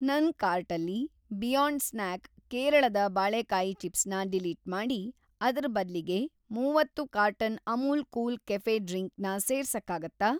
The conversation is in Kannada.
ನನ್‌ ಕಾರ್ಟಲ್ಲಿ ಬಿಯಾಂಡ್‌ ಸ್ನ್ಯಾಕ್ ಕೇರಳದ ಬಾಳೇಕಾಯಿ ಚಿಪ್ಸ್ ನ ಡಿಲೀಟ್‌ ಮಾಡಿ, ಅದ್ರ ಬದ್ಲಿಗೆ ಮೂವತ್ತು carton Amul cool cafe drink ನ ಸೇರ್ಸಕ್ಕಾಗತ್ತಾ?